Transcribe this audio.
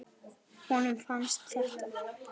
Honum fannst þetta.